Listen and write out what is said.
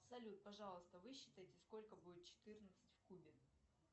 салют пожалуйста высчитайте сколько будет четырнадцать в кубе